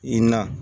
I na